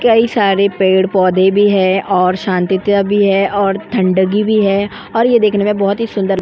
कई सारे पेड़ पौधे भी है और शांति त भी है और ठंड गी भी है और यह देखने में बहुत ही सुंदर --